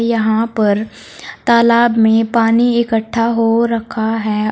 यहां पर तालाब में पानी इकट्ठा हो रखा है।